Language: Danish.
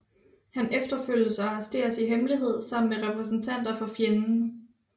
Han efterfølges og arresteres i hemmelighed sammen med repræsentanter for fjenden